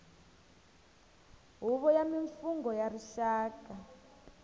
huvo ya mimfungho ya rixaka